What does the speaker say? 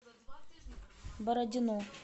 бородино